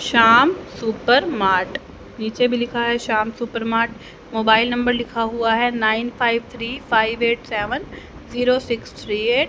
Shyam super mart नीचे भी लिखा है श्याम सुपरमार्ट मोबाइल नंबर लिखा हुआ है nine five three five eight seven zero six three eight.